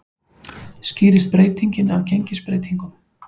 Skýrist breytingin af gengisbreytingum